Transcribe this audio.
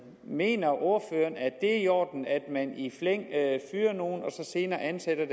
mener ordføreren at det er i orden at man i flæng fyrer nogle folk og så senere ansætter